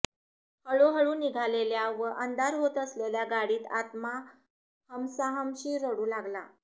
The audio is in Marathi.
हळूहळू निघालेल्या व अंधार होत असलेल्या गाडीत आत्मा हमसाहमशी रडू लागला